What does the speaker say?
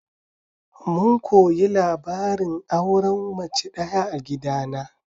Mun koyi labarin auren mace ɗaya a gidana.